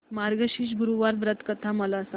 मार्गशीर्ष गुरुवार व्रत कथा मला सांग